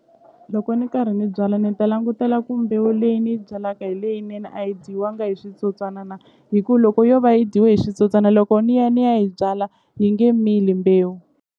Loko ni karhi ni byala ni ta langutela ku mbewu leyi ni yi byalaka hi leyinene a yi dyiwanga hi switsotswana na hi ku loko yo va yi dyiwe hi switsotswana loko ni ya ni ya yi byala yi nge mili mbewu.